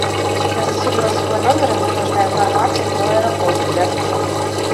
я заселилась в свой номер и мне нужна информация про аэропорты рядом с отелем